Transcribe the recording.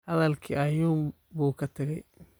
Hadalkii ayuun buu ka tagay